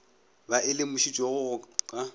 ba e lemošitšwego ka go